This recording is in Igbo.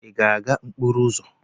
Ị ga-aga n'okporo ụzọ?